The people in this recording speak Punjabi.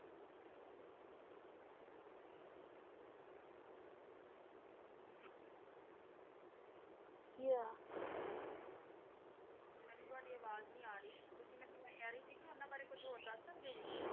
ਕੀ ਹੋਯਾ ਮੇਨੂ ਤਵਾਦੀ ਅਵਾਜ਼ ਨਹੀ ਆ ਰੀ ਤੁਸੀਂ ਮੈਂ ਕਹ ਰੀ ਸੀ ਕੇ ਓਨਾਂ ਬਾਰੇ ਕੁਜ ਹੋਰ ਦਸ ਸਕਦੇ ਊ